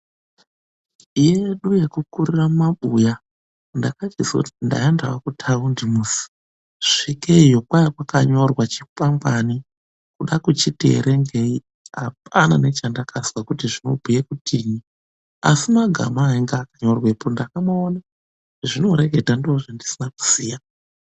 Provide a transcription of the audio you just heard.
Iyi yedu yekukurire mumabuya, ndakachizoti ndaendewo kutaundi musi. Svikeiyo kwakwakanyorwa chikwangwani. Kuda kuchiti verengei hapana nechandakazwa kuti zvinobhuye kutii asi magama angaakanyorwepo ndakamaona zvazvinoreketa ndozvandisina kuziya.